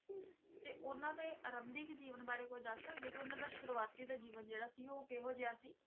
ਤੇ ਉਹਨਾਂ ਦੇ ਆਰੰਭਿਕ ਜੀਵਨ ਬਾਰੇ ਕੁੱਝ ਦੱਸ ਸਕਦੇ ਹੋ ਕਿ ਉਹਨਾਂ ਦਾ ਸ਼ੁਰੂਆਤੀ ਦਾ ਜੀਵਨ ਜਿਹੜਾ ਸੀ, ਉਹ ਕਿਹੋ ਜਿਹਾ ਸੀ?